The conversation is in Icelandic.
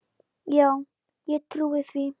Já, ég trúi því.